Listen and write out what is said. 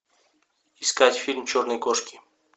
искать фильм черные кошки